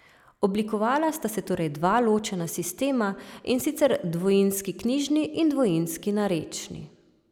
Oblikovala sta se torej dva ločena sistema, in sicer dvojinski knjižni in dvojinski narečni.